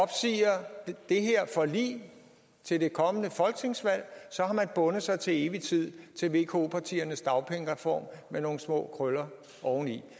men det her forlig til det kommende folketingsvalg har man bundet sig til evig tid til vko partiernes dagpengereform med nogle små krøller oveni